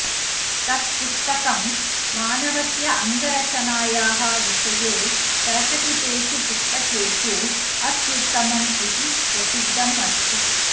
तत् पुस्तकं मानवस्य अङ्गरचनायाः विषये प्रकटितेषु पुस्तकेषु अत्युत्तमम् इति प्रसिद्धम् अस्ति